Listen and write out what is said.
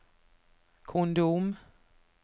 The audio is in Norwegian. kondom